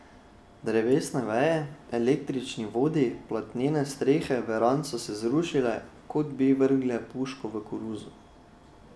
Drevesne veje, električni vodi, platnene strehe verand so se zrušile, kot bi vrgle puško v koruzo.